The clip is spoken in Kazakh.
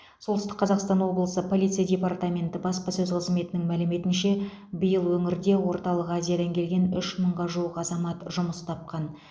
солтүстік қазақстан облысы полиция департаменті баспасөз қызметінің мәліметінше биыл өңірде орталық азиядан келген үш мыңға жуық азамат жұмыс тапқан